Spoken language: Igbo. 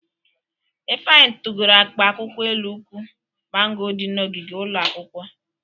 Ifeanyị tugoro akpa akwụkwọ elu ukwu mango dị n'ogige ụlọ akwụkwọ.